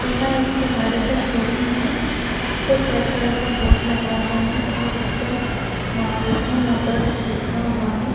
यहाँ एक गाड़ी का शोरूम है जिसपे एक रेड कलर का बोर्ड लगा हुआ है और उसपर मारुती मोटर्स लिखा हुआ है।